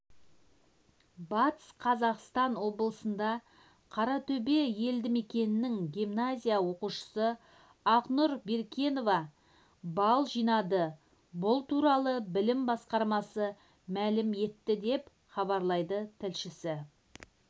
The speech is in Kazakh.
батыс қазақстан облысында қаратөбе елдімекенінің гимназия оқушысы ақнұр беркенова балл жинады бұл туралы білім басқармасы мәлім етті деп хабарлайды тілшісі